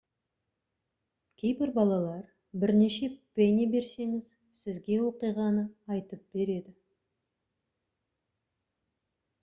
кейбір балалар бірнеше пенни берсеңіз сізге оқиғаны айтып береді